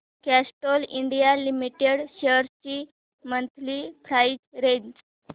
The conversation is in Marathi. कॅस्ट्रॉल इंडिया लिमिटेड शेअर्स ची मंथली प्राइस रेंज